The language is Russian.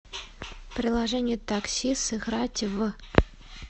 приложение такси сыграть в